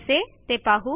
कसे ते पाहू